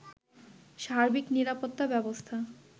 সার্বিক নিরাপত্তা ব্যবস্থা